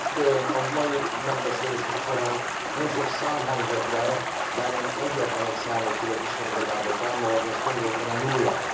Itt a mai megbeszélésünk során nagyon sok szám hangzott el, bár én egyetlen egy számot tudok istenigazából támogatni, ez konkrétan a nulla.